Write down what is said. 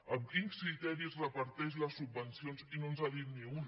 amb quins criteris reparteix les subvencions i no ens n’ha dit ni un